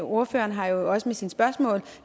ordføreren har jo også med sine spørgsmål